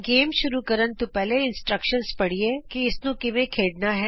ਖੇਡ ਸ਼ੁਰੂ ਕਰਨ ਤੋਂ ਪਹਿਲਾਂ ਆਉ ਅਸੀਂ ਹਿਦਾਇਤਾਂ ਪੜ੍ਹੀਏ ਕਿ ਇਸਨੂੰ ਕਿਵੇਂ ਖੇਡਣਾ ਹੈ